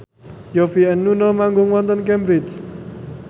Yovie and Nuno manggung wonten Cambridge